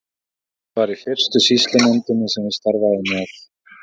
Vilhjálmur var í fyrstu sýslunefndinni sem ég starfaði með.